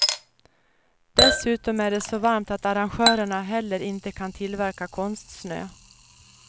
Dessutom är det så varmt att arrangörerna heller inte kan tillverka konstsnö.